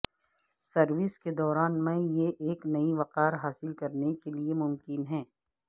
service کے دوران میں یہ ایک نئی وقار حاصل کرنے کے لئے ممکن ہے